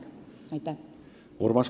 Pean silmas aktsiaseltsi müümist.